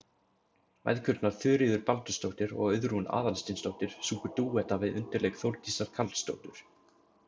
Mæðgurnar Þuríður Baldursdóttir og Auðrún Aðalsteinsdóttir sungu dúetta við undirleik Þórdísar Karlsdóttur.